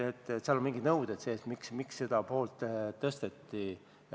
Seal on mingisugused nõuded sees, miks seda poolt tõsteti.